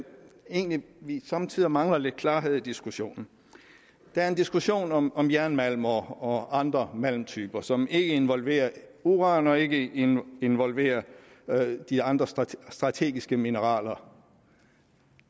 egentlig vi somme tider mangler lidt klarhed i diskussionen der er en diskussion om om jernmalm og andre malmtyper som ikke involverer uran og ikke involverer de andre strategiske mineraler